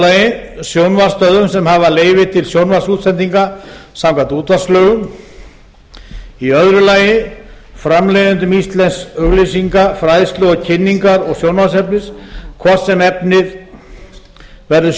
fyrstu sjónvarpsstöðvum sem hafa leyfi til sjónvarpsútsendinga samkvæmt útvarpslögum öðrum framleiðendum íslensks auglýsinga fræðslu kynningar og sjónvarpsefnis hvort sem efnið verður